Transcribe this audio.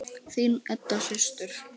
Þín Edda systir.